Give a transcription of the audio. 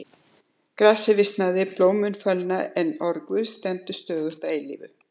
Grasið visnar, blómin fölna, en orð Guðs stendur stöðugt að eilífu.